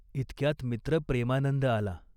इतक्यात मित्र प्रेमानंद आला.